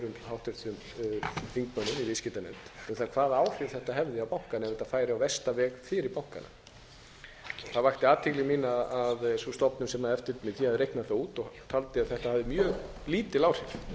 háttvirtum þingmönnum í viðskiptanefnd um það hvaða áhrif þetta hefði á bankana ef þetta færi á versta veg fyrir bankana það vakti athygli mína að sú stofnun sem xxxx að reikna það út og taldi að þetta hefði mjög lítil áhrif